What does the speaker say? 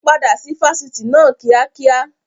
Padà sí Fásitì náà kíá kíákíá!